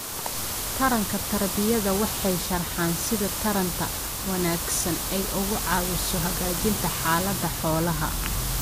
Taranka tarbiyada waxay sharxaan sida taranta wanaagsani ay uga caawiso hagaajinta xaalada xoolaha.